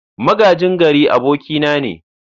Magajin gari abokina ne.